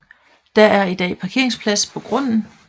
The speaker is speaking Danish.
Der er i dag parkeringsplads på grunden